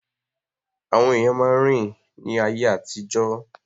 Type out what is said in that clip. Àwọn èèyàn máa ń rìn ní ayé àtijọ́